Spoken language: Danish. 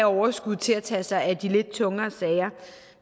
overskud til at tage sig af de lidt tungere sager